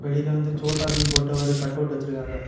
வெளில வந்து சோட்டா பீம் போட்ட ஒரு கட்டவுட் வச்சிருக்காங்க.